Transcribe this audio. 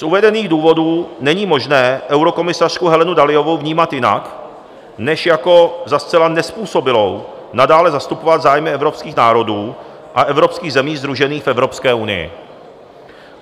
Z uvedených důvodů není možné eurokomisařku Helenu Dalliovou vnímat jinak než jako za zcela nezpůsobilou nadále zastupovat zájmy evropských národů a evropských zemí sdružených v Evropské unii.